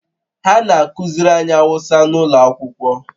Ha na-akụziri anyị Awụsa n'ụlọ akwụkwọ